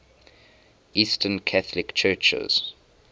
eastern catholic churches